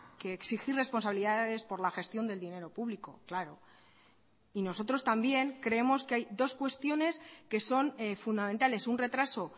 que exigir responsabilidades por la gestión del dinero público claro y nosotros también creemos que hay dos cuestiones que son fundamentales un retraso